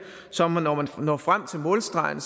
som om at når man når frem til målstregen